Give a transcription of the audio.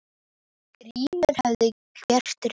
Grímur hafði gert rétt.